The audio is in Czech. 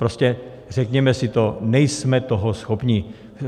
Prostě řekněme si to, nejsme toho schopni.